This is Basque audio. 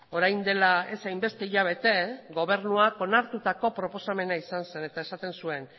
orain dela ez hainbeste hilabete gobernuak onartutako proposamena izan zen eta esaten zuen